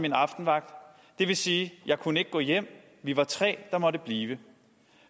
min aftenvagt det vil sige jeg kunne ikke gå hjem vi var tre der måtte blive